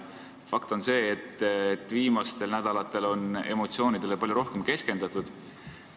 Fakt on see, et viimastel nädalatel on palju rohkem keskendutud emotsioonidele.